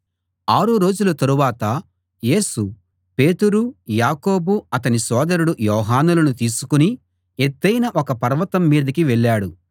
ఆరు రోజుల తరువాత యేసు పేతురు యాకోబు అతని సోదరుడు యోహానులను తీసుకుని ఎత్తయిన ఒక పర్వతం మీదికి వెళ్ళాడు